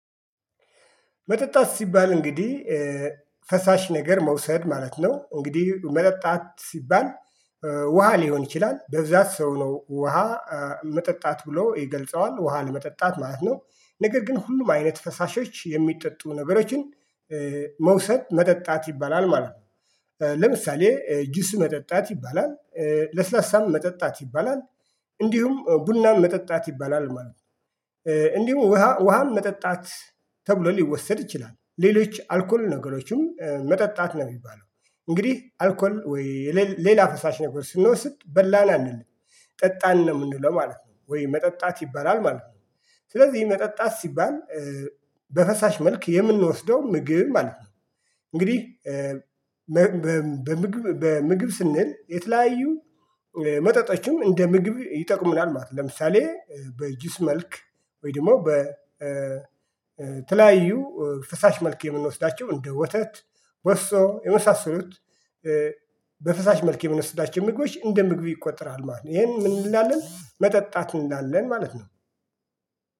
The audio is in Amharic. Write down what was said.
መጠጣት ሲባል እንግዲህ ፈሳሽ ነገር መውሰድ ማለት ነው። እንግዲህ መጠጣት ሲባል ውሃ ሊሆን ይችላል በብዛት ሰው ነው ውሃ መጠጣት ብሎ ይገልጸዋል ውሃ ለመጠጣት ማለት ነው። ነገር ግን ሁሉም አይነት ፈሳሾች የሚጠጡ ነገሮችን መውሰድ መጠጣት ይባላል ማለት ነው። ለምሳሌ ጁስ መጠጣት ይባላል ለስላሳም መጠጣት ይባላል እንዲሁም ቡናም መጠጣት ይባላል ማለት ነው። እንዲሁም ውሃ ውሃም መጠጣት ተብሎ ሊወሰድ ይችላል ሌሎች አልኮል ነገሮችም መጠጣት ነው የሚባለው። እንግዲህ አልኮል ወይ ሌላ ፈሳሽ ነገር ስንወስድ በላን አንልም ጠጣን ነው የምንለው ማለት ነው። ወይ መጠጣት ይበላል ማለት ነው። ስለዚህ መጠጣት ሲባል በፈሳሽ መልክ የምንወስደው ምግብ ማለት ነው። እንግዲህ በምግብ በምግብ ስንል የተለያዩ መጠጦችም እንደ ምግብ ይጠቅምናል ማለት ነው። ለምሳሌ በጁስ መልክ ወይ ደግሞ በተለያዩ ፈሳሽ መልክ የምንወስዳቸው እንደ ወተት ወይስ የመሳሰሉት በፈሳሽ መልክ የሚንወስዳቸው ምግቦች እንደ ምግብ ይቆጠራል ማለት ነው። ይሄን ምን እንላለን መጠጣት እንላለን ማለት ነው